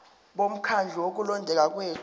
bomkhandlu wokulondeka kwethu